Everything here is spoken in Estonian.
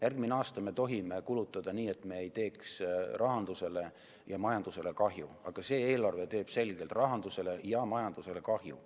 Järgmisel aastal me tohime kulutada nii, et me ei teeks rahandusele ja majandusele kahju, aga see eelarve teeb selgelt rahandusele ja majandusele kahju.